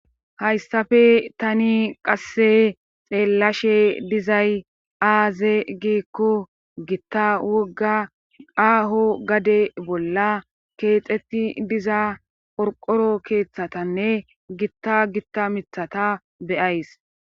hayssafe tani qasse xeellashe dizay aaze gikko gitta wogga aaho gade bolla keexetti diza qorqoro keeththatanne gitta gitta mithata be'ays